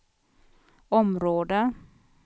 område